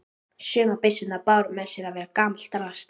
Sumar byssurnar báru með sér að vera gamalt drasl.